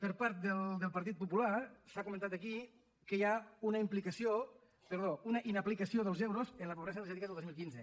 per part del partit popular s’ha comentat aquí que hi ha una inaplicació dels euros en la pobresa energètica del dos mil quinze